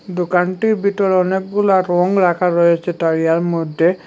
দোকানটির ভিতরে অনেকগুলা রং রাখা রয়েছে তারিয়ার মধ্যে।